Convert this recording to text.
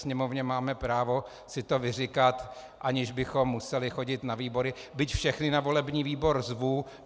Sněmovně máme právo si to vyříkat, aniž bychom museli chodit na výbory, byť všechny na volební výbor zvu.